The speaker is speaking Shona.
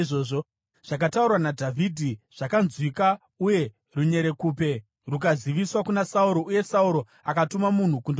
Zvakataurwa naDhavhidhi zvakanzwikwa uye runyerekupe rukaziviswa kuna Sauro, uye Sauro akatuma munhu kundomudana.